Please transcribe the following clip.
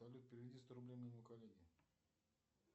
салют переведи сто рублей моему коллеге